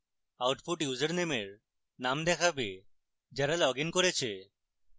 output ইউসারনেমের name দেখাবে যারা লগইন করেছে